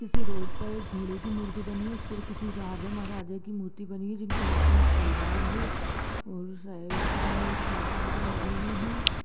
पीछे रोड पर एक घोड़े की मूर्ति बनी हुई है इस पे किसी राजा महाराजा की मूर्ति बनी हुई है जिनका हाथ में एक तलवार है और साइड में एक तीर कमान लगे हुए है।